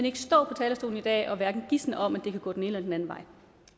ikke stå på talerstolen i dag og gisne om at det kan gå den ene eller den anden vej